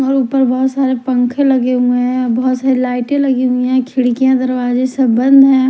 और ऊपर बहोत सारे पंखे लगे हुए हैं बहोत सारे लाइटे लगी हुई है खिड़कियां दरवाजे सब बंद है।